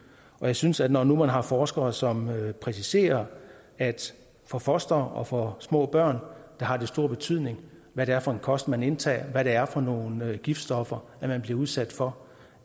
jeg synes at når nu man har forskere som præciserer at for fostre og for små børn har det stor betydning hvad det er for en kost man indtager og hvad det er for nogle giftstoffer man bliver udsat for